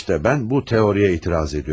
İşte mən bu teoriya etiraz edirəm.